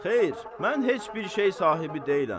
Xeyr, mən heç bir şey sahibi deyiləm.